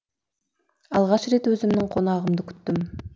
алғаш рет өзімнің қонағымды күттім